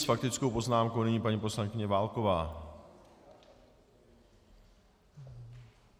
S faktickou poznámkou nyní paní poslankyně Válková.